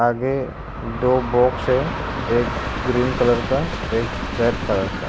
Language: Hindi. आगे दो बॉक्स है एक ग्रीन कलर का एक रेड कलर का।